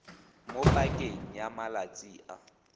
mo pakeng ya malatsi a